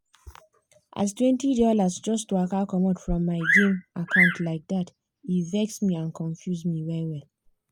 as twenty dollars just waka comot from my game account like that e vex me and confuse me well-well.